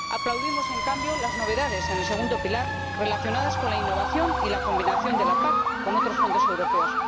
aplaudimos, en cambio, las novedades en el segundo pilar relacionadas con la innovación y la combinación de la PAC con otros fondos europeos.